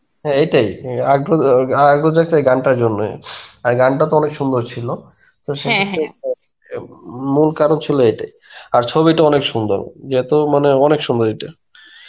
হ্যাঁ, এইটাই. ইয়া আগ্রো~ আগ্রহ জাগসে গানটার জন্যে. হ্যাঁ গানটা তো অনেক সুন্দর ছিলো, তো মূল কারণ ছিলো এইটাই. আর ছবিটা অনেক সুন্দর. যে এত মানে অনেক সুন্দর এইটা.